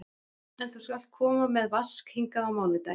En þú skalt koma með Vask hingað á mánudaginn.